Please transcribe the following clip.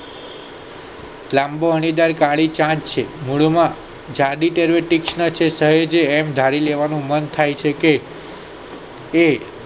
લાંબો અણીદાર કાળી ચાંચ છે મૂળ માં ધારી લેવાનું મન થાય છે કે કે